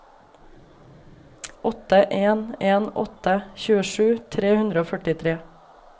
åtte en en åtte tjuesju tre hundre og førtitre